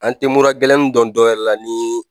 An tɛ mura gɛlɛnin dɔn dɔwɛrɛ la ni